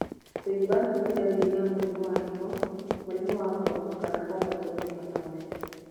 Kũimba nĩ dariri ya mũrimu wa higo, mũrimũ wa ngoro kana kwambato ni thakame.